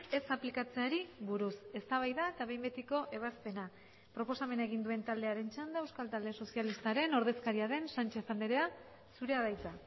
ez aplikatzeari buruz eztabaida eta behin betiko ebazpena proposamena egin duen taldearen txanda euskal talde sozialistaren ordezkaria den sánchez andrea zurea da hitza